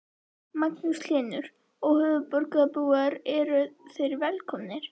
Magnús Hlynur: Og höfuðborgarbúar eru þeir velkomnir?